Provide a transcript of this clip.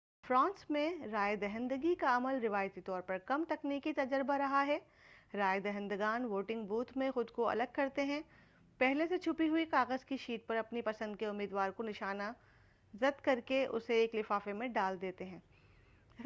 France میں رائے دہندگی کا عمل روایتی طور پر کم تکنیکی تجربہ رہا ہے رائے دہندگان ووٹنگ بوتھ میں خود کو الگ کرتے ہیں پہلے سے چھپی ہوئی کاغذ کی شیٹ پر اپنی پسند کے امیدوار کو نشان زد کرکے اسے ایک لفافے میں ڈال دیتے ہیں